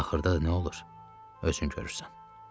Axırda da nə olur, özün görürsən.